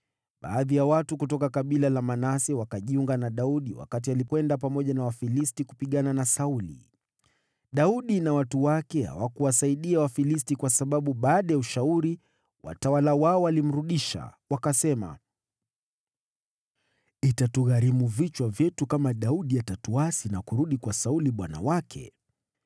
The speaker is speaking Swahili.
Baadhi ya watu kutoka kabila la Manase wakajiunga na Daudi wakati alikwenda pamoja na Wafilisti, kupigana na Sauli. (Daudi na watu wake hawakuwasaidia Wafilisti kwa sababu, baada ya ushauri, watawala wao walimrudisha. Wakasema, “Itatugharimu vichwa vyetu kama Daudi atatuasi na kurudi kwa Sauli bwana wake.”)